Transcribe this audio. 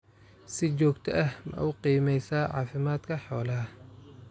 Si joogto ah ma u qiimeysaa caafimaadka xoolaha?